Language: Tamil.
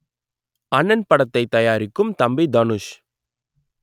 அண்ணன் படத்தை தயாரிக்கும் தம்பி தனுஷ்